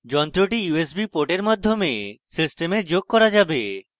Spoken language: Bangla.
যন্ত্রটি usb port মাধ্যমে system যোগ করা যাবে